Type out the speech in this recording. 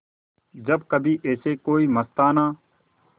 जब कभी ऐसे कोई मस्ताना